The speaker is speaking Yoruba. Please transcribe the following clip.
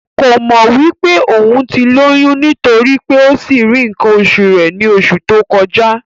Kò mọ̀ wí pé òún ti lóyún nítorí pé ó sì rí ǹǹkan osù rẹ ní osù tó kọjá